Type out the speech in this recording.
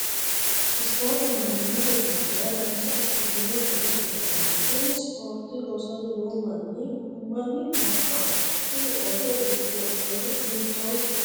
ispoorte mannimmate guuntera dancha ikitino gede kullannni, kuni ispoorte loosanni noo manni mami gobbaho? tini ooso uddidhino uddano hiittoote ?